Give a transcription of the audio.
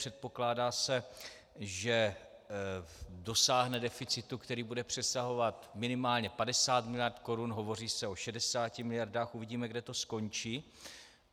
Předpokládá se, že dosáhne deficitu, který bude přesahovat minimálně 50 miliard korun, hovoří se o 60 miliardách, uvidíme, kde to skončí.